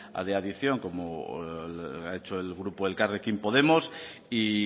de adición como ha hecho el grupo elkarrekin podemos y